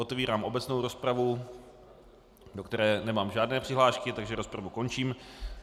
Otevírám obecnou rozpravu, do které nemám žádné přihlášky, takže rozpravu končím.